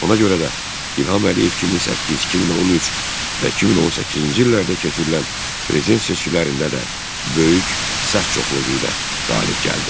Ona görə də İlham Əliyev 2008, 2013 və 2018-ci illərdə keçirilən prezident seçkilərində də böyük səs çoxluğu ilə qalib gəldi.